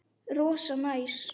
Rosa næs.